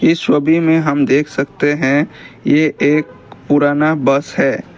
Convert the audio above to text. इस छवि में हम देख सकते हैं ये एक पुराना बस है।